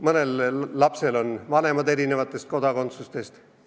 Mõnel lapsel on vanemad eri riigi kodakondsusega.